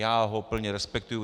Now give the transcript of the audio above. Já ho plně respektuji.